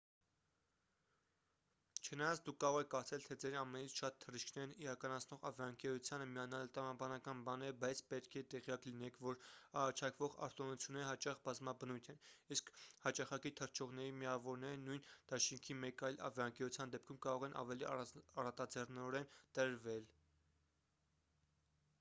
չնայած դուք կարող եք կարծել թե ձեր ամենից շատ թռիչքներն իրականացնող ավիաընկերությանը միանալը տրամաբանական բան է բայց պետք է տեղյակ լինեք որ առաջարկվող արտոնությունները հաճախ բազմաբնույթ են իսկ հաճախակի թռչողների միավորները նույն դաշինքի մեկ այլ ավիաընկերության դեպքում կարող են ավելի առատաձեռնորեն տրվել